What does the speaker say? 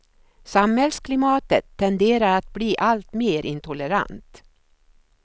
Samhällsklimatet tenderar att bli alltmer intolerant.